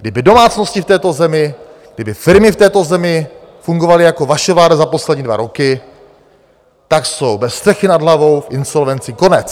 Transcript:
Kdyby domácnosti v této zemi, kdyby firmy v této zemi fungovaly jako vaše vláda za poslední dva roky, tak jsou bez střechy nad hlavou, v insolvenci, konec.